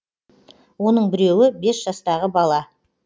оның біреуі бес жастағы бала